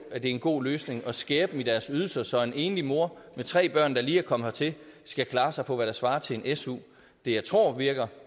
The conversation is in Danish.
en god løsning at skære i deres ydelser så en enlig mor med tre børn der lige er kommet hertil skal klare sig for hvad der svarer til en su det jeg tror virker